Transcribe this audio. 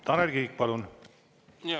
Tanel Kiik, palun!